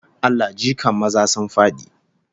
Allah jikan maza sun fadi!